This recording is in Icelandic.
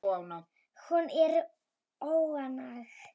Hún er óánægð.